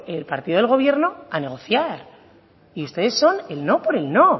el partido del gobierno a negociar y ustedes son el no por el no